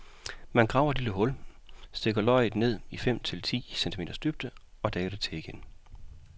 Man graver et lille hul, stikker løget ned i fem til ti centimeters dybde, og dækker til igen.